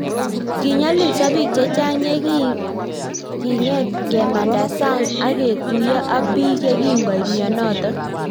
Kinyolilsoo piik chechang yegingeet kemandaa sang ak ketuiyoo ak piik yekingoit mionotok